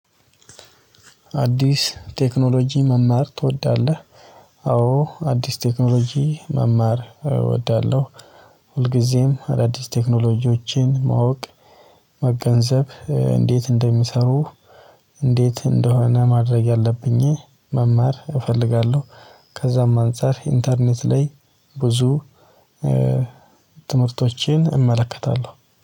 አዲስ ቴክኖሎጂ መማር ትወዳለህ? አዎ አዲስ ቴክኖሎጂ መማር እወዳለሁ። ሁልጊዜም አዳዲስ ቴክኖሎጂዎችን ማወቅ መገንዘብ እንዴት እንደሚሰሩ። እንዴት እንደሆነ ማድረግ ያለብኝ መማር እፈልጋለሁ። ከዛም አንፃር ኢንተርኔት ላይ ብዙ ትምህርቶችን እመለከታለሁ